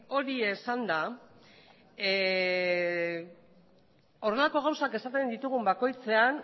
hori esanda honelako gauzak esaten ditugun bakoitzean